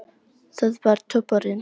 Það var toppurinn.